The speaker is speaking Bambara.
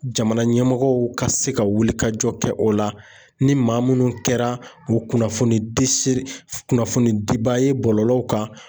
Jamana ɲɛmɔgɔw ka se ka wulikajɔ kɛ o la ni maa minnu kɛra o kunnafoni kunnafoni dibaa ye bɔlɔlɔw kan.